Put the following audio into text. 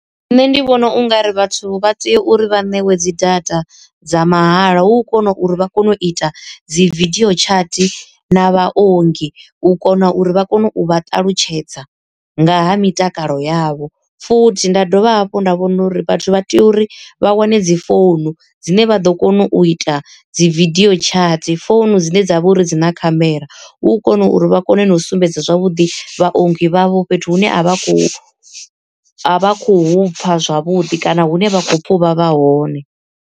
Nṋe ndi vhona ungari vhathu vha tea uri vha ṋewe dzi data dza mahala hu kona uri vha kone u ita dzi vidio chat na vhaongi u kona uri vha kone u vha ṱalutshedza nga ha mitakalo yavho. Futhi nda dovha hafhu nda vhona uri vhathu vha tea uri vha wane dzi founu dzine vha ḓo kona u ita dzi vidio chat founu dzine dza vha uri dzi na khamera, hu u kona uri vha kone na u sumbedza zwavhuḓi vhaongi vhavho fhethu hune a vha khou a vha khou hu pfa zwavhuḓi kana hune vha kho pfa u vhavha hone.